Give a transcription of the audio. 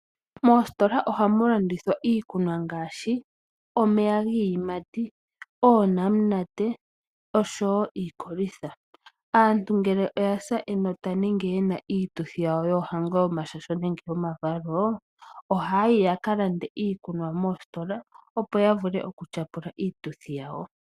Moositola ohamu landithwa iikunwa ngaashi, omeya giiyimati, oonamunate, oshowo iikolitha. Aantu ngele oya sa enota nenge ye na iituthi yawo yoohango, omashasho nenge omavalo, ohaa yi ya ka lande iikunwa moositola, opo ya vule okutyapula iituthi yawo.